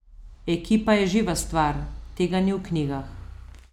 Ekipa je živa stvar, tega ni v knjigah.